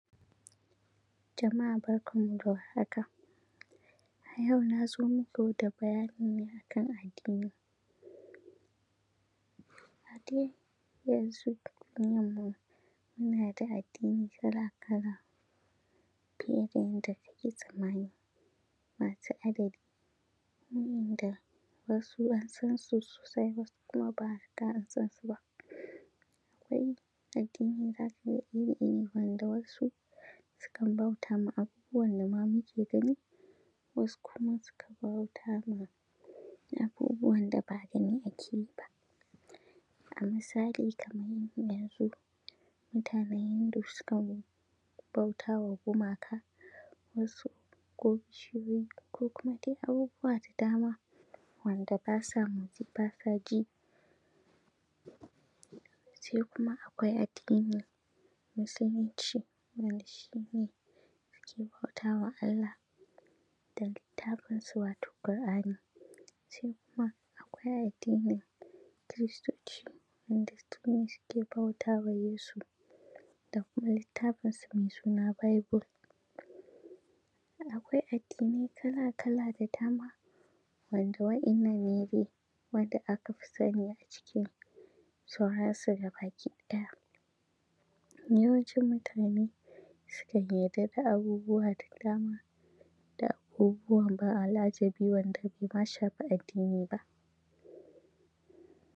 Jama’a barkanmu da warhaka, a yau na zo muku da bayani ne a kan addini A dai yanzu muna da addini kala-kala fiye da yanda kake tsammani masu adadi wa’inda wasu an san su sosai wasu kuma ba a riga da an san su ba akwai addini iri-iri wanda wasu su kan bauta ma abubuwan da ma muke gani, wasu kuma su kan bauta ma abubuwan da ba gani ake yi ba. A misali kamar yanzu mutanen Hindu su kan bauta wa gumaka wasu ko bishiyoyi ko kuma dai abubuwa da dama wanda ba sa motsi ba sa ji se kuma akwai addinin Musulunci wanda shine ake bauta wa Allah da littafinsu wato Kur’ani, sai kuma akwai addinin Kiristoci wanda su ma suke bautawa Yesu da kuma littafinsu mai suna bible, akwai addinai kala-kala da dama wanda wa’innan ne dai wanda aka fi sani a cikin su gabaki ɗaya. Yawancin mutane su kan yadda da abubuwa da dama da abubuwan ban al’ajabi wanda bai ma shafi addini ba.